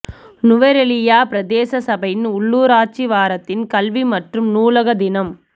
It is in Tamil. நுவரெலியா பிரதேச சபையின் உள்ளுராட்சி வாரத்தின் கல்வி மற்றும் நூலக தினம்